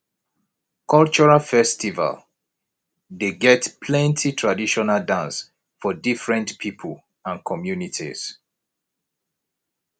cultural festival dey get plenty traditional dance for different pipo and communities